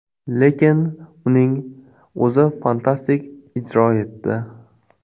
Lekin uning o‘zi fantastik ijro etdi.